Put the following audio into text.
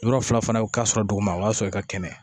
Yɔrɔ fila fana ka sɔrɔ duguma o b'a sɔrɔ i ka kɛnɛ